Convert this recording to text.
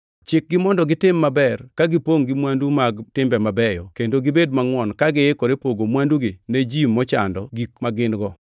Chikgi mondo gitim maber, ka gipongʼ gi mwandu mag timbe mabeyo kendo gibed mangʼwon ka giikore pogo mwandugi ne ji mochando gik ma gin-go.